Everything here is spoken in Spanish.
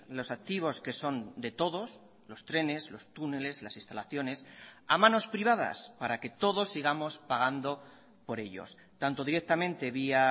los activos que son de todos los trenes los túneles las instalaciones a manos privadas para que todos sigamos pagando por ellos tanto directamente vía